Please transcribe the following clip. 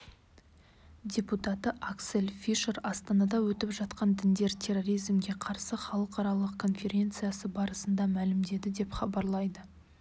депутаты аксель фишер астанада өтіп жатқан діндер терроризмге қарсы халықаралық конференциясы барысында мәлімдеді деп хабарлайды